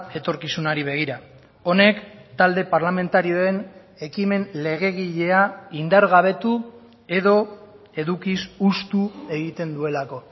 etorkizunari begira honek talde parlamentarioen ekimen legegilea indargabetu edo edukiz hustu egiten duelako